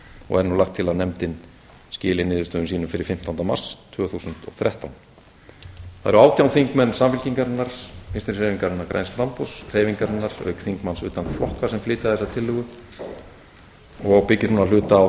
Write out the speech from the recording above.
og er nú lagt til að nefndin skili niðurstöðum sínum fyrir fimmtánda mars tvö þúsund og þrettán það eru átján þingmenn samfylkingarinnar vinstri hreyfingarinnar græns framboðs hreyfingarinnar auk þingmanns utan flokka sem flytja þessa tillögu og byggir hún að hluta á